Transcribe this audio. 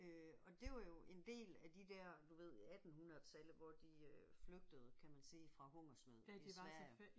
Øh og det var jo en del af de der du ved attenhundredetallet hvor de øh flygtede kan man sige fra hungersnød i Sverige